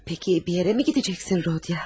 Peki, bir yerəmi gedəcəksən Rodiya?